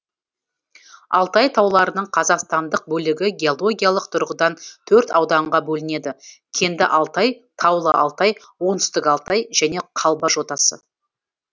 алтай тауларының қазақстандық бөлігі геологиялық тұрғыдан төрт ауданға бөлінеді кенді алтай таулы алтай оңтүстік алтай және қалба жотасы